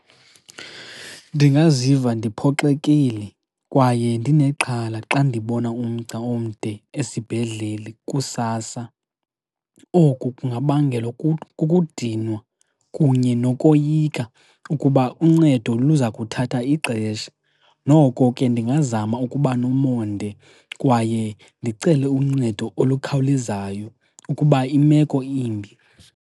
Ndingaziva ndiphoxekile kwaye ndinexhala xa ndibona umgca omde esibhedlele kusasa, oku kungabangelwa kukudinwa kunye nokoyika ukuba uncedo luza kuthatha ixesha. Noko ke ndingazama ukuba nomonde kwaye ndicele uncedo olukhawulezayo ukuba imeko imbi.